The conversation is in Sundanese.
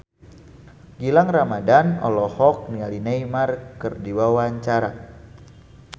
Gilang Ramadan olohok ningali Neymar keur diwawancara